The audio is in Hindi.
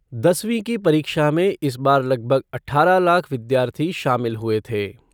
दसवीं की परीक्षा में इस बार लगभग आठारह लाख विद्यार्थी शामिल हुए थे।